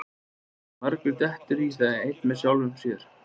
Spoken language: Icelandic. margur dettur í það einn með sjálfum sér